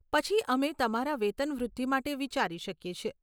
પછી અમે તમારા વેતન વૃદ્ધિ માટે વિચારી શકીએ છીએ.